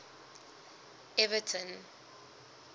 everton